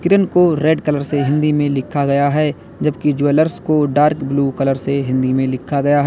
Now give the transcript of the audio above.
को red colour से हिंदी मे लिखा गया है जबकि ज्वेलर्स को डार्क ब्लू कलर से हिंदी में लिखा गया है।